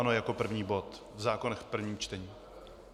Ano, jako první bod v zákonech v prvním čtení.